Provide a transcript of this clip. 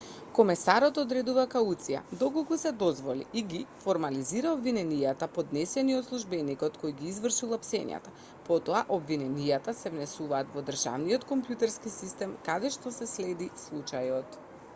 комесарот одредува кауција доколку се дозволи и ги формализира обвиненијата поднесени од службеникот кој ги извршил апсењата потоа обвиненијата се внесуваат во државниот компјутерски систем каде што се следи случајот